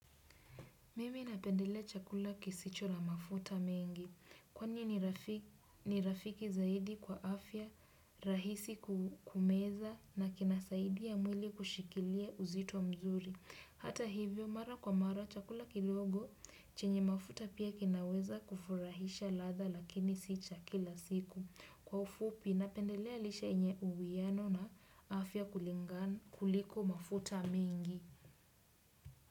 Mimi napendelea chakula kisicho na mafuta mingi. Kwani ni rafiki zaidi kwa afya rahisi kumeza na kinasaidia mwili kushikilia uzito mzuri. Hata hivyo mara kwa mara chakula kidogo chenye mafuta pia kinaweza kufurahisha ladha lakini si cha kila siku. Kwa ufupi napendelea lishe yenye uwiano na afya kuliko mafuta mingi.